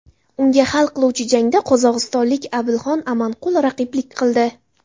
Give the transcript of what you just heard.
Unga hal qiluvchi jangda qozog‘istonlik Abilxan Amanqul raqiblik qildi.